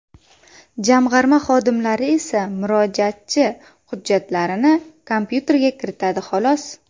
Jamg‘arma xodimlari esa murojaatchi hujjatlarini kompyuterga kiritadi, xolos.